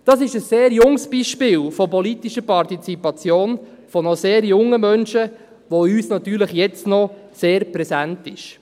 Dies ist ein sehr junges Beispiel von politischer Partizipation von noch sehr jungen Menschen, das uns natürlich jetzt noch sehr präsent ist.